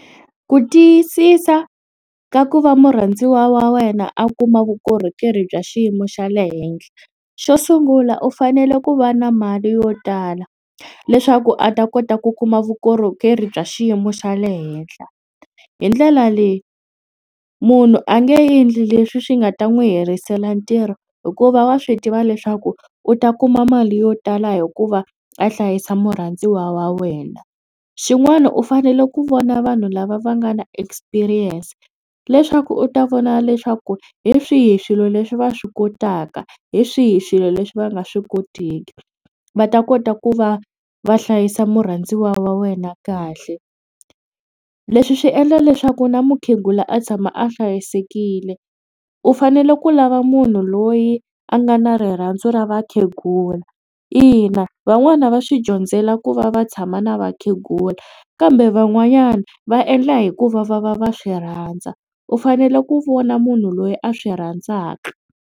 Ku tiyisisa ka ku va murhandziwa wa wena a kuma vukorhokeri bya xiyimo xa le henhla xo sungula u fanele ku va na mali yo tala leswaku a ta kota ku kuma vukorhokeri bya xiyimo xa le henhla. Hi ndlela leyi munhu a nge endli leswi swi nga ta n'wi herisela ntirho hikuva wa swi tiva leswaku u ta kuma mali yo tala hikuva a hlayisa murhandziwa wa wena. Xin'wana u fanele ku vona vanhu lava va nga na experience leswaku u ta vona leswaku hi swihi swilo leswi va swi kotaka hi swihi swilo leswi va nga swi koteki va ta kota ku va va hlayisa murhandziwa wa wena kahle. Leswi swi endla leswaku na mukhegula a tshama a hlayisekile u fanele ku lava munhu loyi a nga na rirhandzu ra vakhegula ina van'wana va swi dyondzela ku va va tshama na vakhegula kambe van'wanyana va endla hi ku va va va va swi rhandza u fanele ku vona munhu loyi a swi rhandzaka.